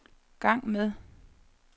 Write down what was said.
gang med